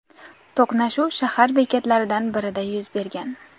To‘qnashuv shahar bekatlaridan birida yuz bergan.